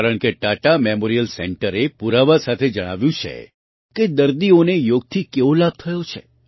કારણકે ટાટા મેમોરિયલ સેન્ટરે પુરાવા સાથે જણાવ્યું છે કે દર્દીઓને યોગથી કેવો લાભ થયો છે